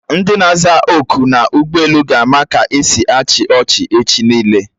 Ndi na-aza oku n'ụgbọelu ga-ama ka esi achị ọchị echi niile